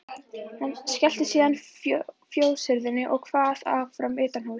Skellti síðan fjóshurðinni og kvað áfram utanhúss.